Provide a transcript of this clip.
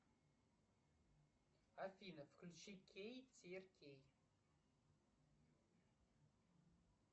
афина включи кей тир кей